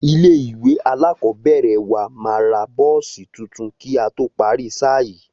Ilé ìwé alákọ̀ọ́bẹ̀rẹ̀ wa máa ra bọ́ọ̀sì tuntun kí a tó parí sáà yìí